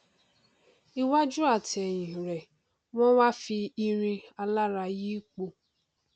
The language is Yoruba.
iwájú àti ẹhìn rẹ wọn wá fi irin alárà yí i po